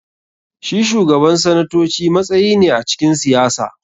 Shi Shugaban sanatoci matsayi ne a cikin siyasa.